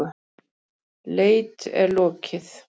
Leit er lokið.